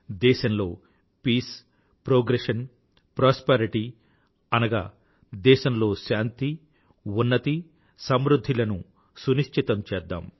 దేశంలో peace progression prosperity అనగా దేశంలో శాంతి ఉన్నతి సమృధ్ధి లను నునిశ్చితం చేద్దాం